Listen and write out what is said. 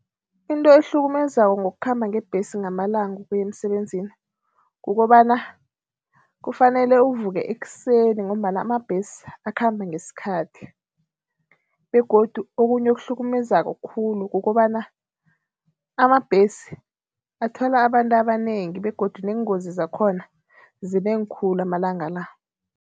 Into ukuhlukumezako ngokukhamba ngebhesi ngamalanga ukuya emsebenzini kukobana, kufanele uvuke ekuseni ngombana amabhesi akhamba ngesikhathi begodu okunye okuhlukumezeko khulu kukobana amabhesi athwala abantu abanengi begodu neengozi zakhona zinengi khulu amalanga la.